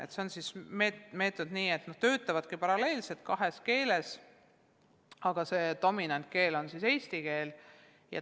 Meetod on niisugune, et nad töötavad paralleelselt kahes keeles, aga dominantkeel on eesti keel.